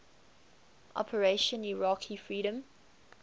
operation iraqi freedom